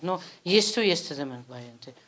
но есту естідім былай енді